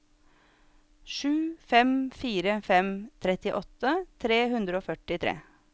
sju fem fire fem trettiåtte tre hundre og førtitre